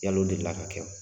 Yal'o deli la ka kɛ wa?